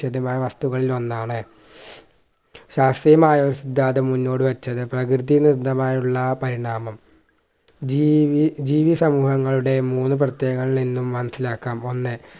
വസ്തുക്കളിൽ ഒന്നാണ് ശാസ്ത്രീയമായ സിദ്ധാന്തം മുന്നോട് വെച്ചത് പ്രകൃതി വിരുദ്ധമായ ഉള്ള പരിണാമം ജീവി ജീവി സമൂഹങ്ങളുടെ മൂന്ന് പ്രത്യേകതകൾ ഇന്നും മനസിലാക്കാം ഒന്ന്